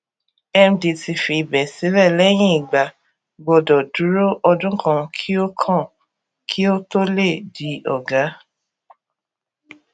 md tí fi ibè sílè lẹyìn igba gbọdọ dúró ọdún kan kí ó kan kí ó tó lè di ọgá